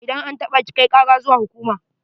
Idan an taɓa ki, kai kara zuwa hukuma.